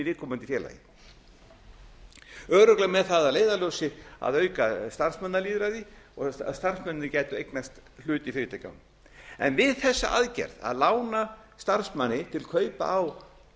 viðkomandi félagi örugglega með það að leiðarljósi að auka starfsmannalýðræði og starfsmennirnir gætu eignast hlut í fyrirtækjunum en við þessa aðgerð að lána starfsmanni til kaupa á